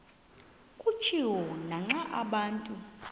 kutshiwo naxa abantu